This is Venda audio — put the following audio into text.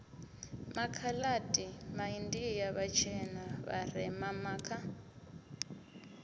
makhaladi maindia vhatshena vharema makha